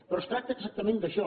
però es tracta exactament d’això